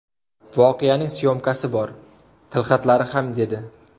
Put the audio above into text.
Voqeaning syomkasi bor, tilxatlari ham dedi.